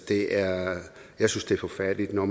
krigere